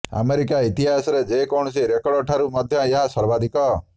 America ଇତିହାସରେ ଯେ କୌଣସି ରେକର୍ଡ ଠାରୁ ମଧ୍ୟ ଏହା ସର୍ବାଧିକ